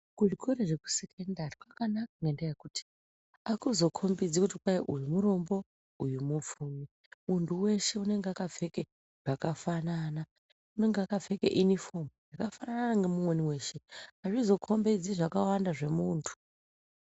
Kuzvikora zvekusekondari kwakanaka ngendaa yekuti akuzokombedzi kuti uyu murombo uyu mupfumi muntu weshe unenge akapfeke zvakafanana unonga akapfeke inifomu yakafanana neumweni weshe azvizokombedzi zvakawanda zvemuntu.